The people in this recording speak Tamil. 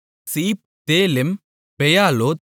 சீப் தேலெம் பெயாலோத்